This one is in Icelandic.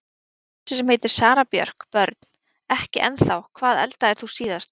Á kærustu sem heitir Sara Björk Börn: Ekki ennþá Hvað eldaðir þú síðast?